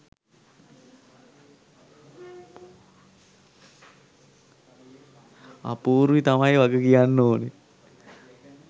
අපූර්වී තමයි වග කියන්න ඕන